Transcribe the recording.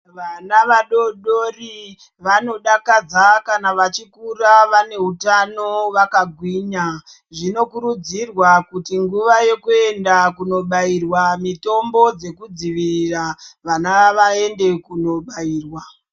Vana vadodori vanodakadza kana vachikura vane utano vakagwinya zvinokurudzirwa kuti nhuva yekuenda kundobairwa mitombo dzekudzivirirwa vana vaende kundobairwa.